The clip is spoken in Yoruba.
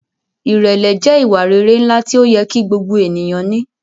Irẹlẹ jẹ iwa-rere nla ti oyẹ ki gbogbo eniyan ni